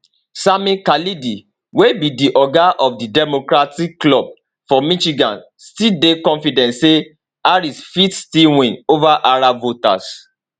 sami khalidi wey be di oga of di democratic club for michigan still dey confident say harris fit still win ova arab voters